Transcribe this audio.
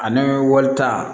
Ani walita